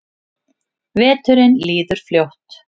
Veturinn líður fljótt.